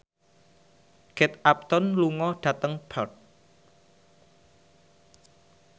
Kate Upton lunga dhateng Perth